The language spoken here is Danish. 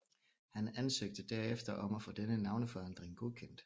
Han ansøgte derefter om at få denne navneforandring godkendt